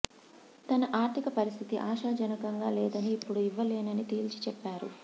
తన ఆర్ధిక పరిస్థితి ఆశాజనకంగా లేదని ఇప్పుడు ఇవ్వలేనని తేల్చి చెప్పారు